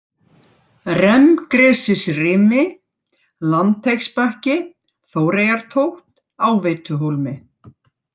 Remmgresisrimi, Landteigsbakki, Þóreyjartótt, Áveituhólmi